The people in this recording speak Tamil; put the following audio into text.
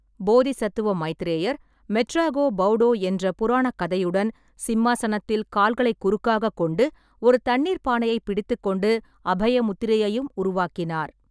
போதிசத்துவ மைத்ரேயர் "மெட்ராகோ பௌடோ" என்ற புராணக் கதையுடன், சிம்மாசனத்தில் கால்களைக் குறுக்காகக் கொண்டு, ஒரு தண்ணீர்ப் பானையைப் பிடித்துக் கொண்டு, அபய முத்திரையையும் உருவாக்கினார்.